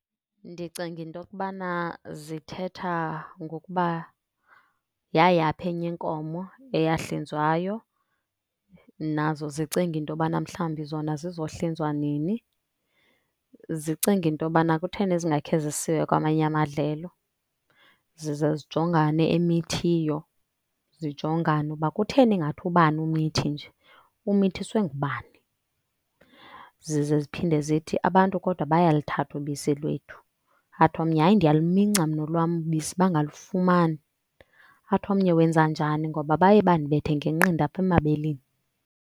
Ndicinga into yokubana zithetha ngokuba yayaphi enye inkomo eyahlinzwayo. Nazo zicinga into yobana mhlawumbi zona zizohlinzwa nini. Zicinga into yobana kutheni zingakhe zisiwe kwamanye amadlelo. Zize zijongane emithiyo, zijongane ukuba kutheni ingathi ubani umithi nje, umithiswe ngubani? Zize ziphinde zithi abantu kodwa bayaluthatha ubisi lwethu. Athi omnye, hayi, ndiyaluminca mna olwam ubisi bangalufumani. Athi omnye, wenza njani ngoba baye bandibethe ngenqindi apha emabeleni?